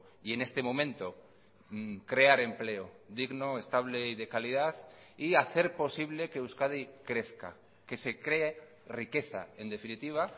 y en este momento crear empleo digno estable y de calidad y hacer posible que euskadi crezca que se cree riqueza en definitiva